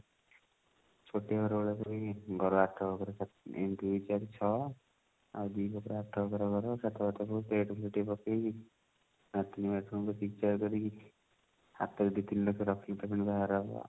ଛୋଟିଆ ଘର ଘର ଆଠ ବଖରା ଏମତି ଦୁଇ ଚାରି ଛଅ ଆଉ ଦି ବଖରା ଆଠ ବଖରା ଘର ଛାତ ଉପରେ ଟିକେ plate ଫ୍ଲେଟ ଟିକେ ପକେଇବି latrine bathroom ଟିକେ କରିବି ହାତ ରେ ଦୁଇ ତିନ ଲକ୍ଷ ରଖିକି ତ ପୁଣି ବାହାଘର ହବ